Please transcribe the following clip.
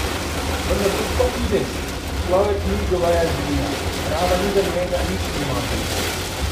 Vendar to sploh ni res, človek ni goveja živina, trava ni za njega, nič nima od nje.